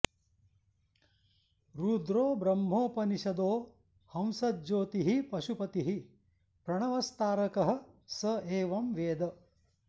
रुद्रो ब्रह्मोपनिषदो हंसज्योतिः पशुपतिः प्रणवस्तारकः स एवं वेद